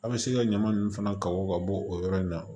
An bɛ se ka ɲama nunnu fana ka bɔ ka bɔ o yɔrɔ in na